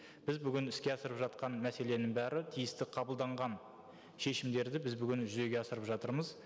біз бүгін іске асырып жатқан мәселенің бәрі тиісті қабылданған шешімдерді біз бүгін жүзеге асырып жатырмыз